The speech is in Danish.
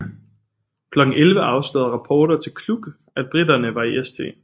Klokken 11 afslørede rapporter til Kluck at briterne var i St